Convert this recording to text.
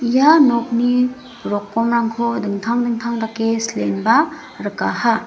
ia nokni rokomrangko dingtang dingtang dake silenba rikaha.